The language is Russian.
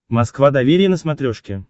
москва доверие на смотрешке